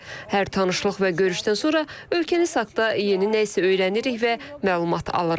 Hər tanışlıq və görüşdən sonra ölkəni saxda yeni nə isə öyrənirik və məlumat alırıq.